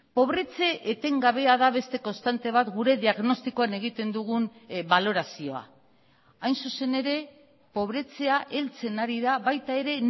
pobretze etengabea da beste konstante bat gure diagnostikoan egiten dugun balorazioa hain zuzen ere pobretzea heltzen ari da baita ere